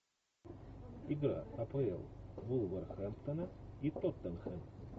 игра апл вулверхэмптона и тоттенхэм